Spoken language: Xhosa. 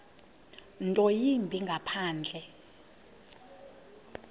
nto yimbi ngaphandle